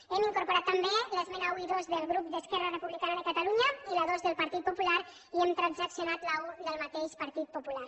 hem incorporat també les esmenes un i dos del grup d’esquerra republicana de catalunya i la dos del partit popular i hem transaccionat l’un del mateix partit popular